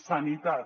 sanitat